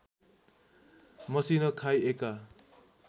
मसिनो खाई एका